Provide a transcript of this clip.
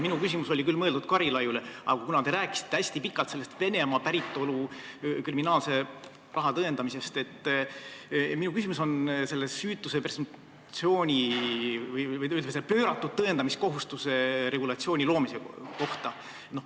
Minu küsimus oli küll mõeldud Karilaidile, aga kuna ka teie rääkisite hästi pikalt Venemaalt pärit oleva raha kriminaalse päritolu tõendamisest, siis ma küsin teilt süütuse presumptsiooni või pööratud tõendamiskohustuse regulatsiooni loomise kohta.